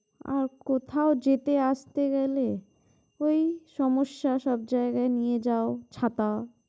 আর কোথাও যেতে আসতে গেলে ওই সমস্যা সব জায়গায় নিয়ে যাও ছাতা।